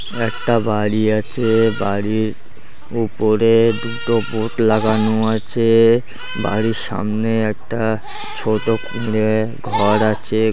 একটা বাড়ি আছে বাড়ির উপরে দুটো বোর্ড লাগানো আছে-এ বাড়ির সামনে একটা ছোট কুঁড়ে ঘর আছে--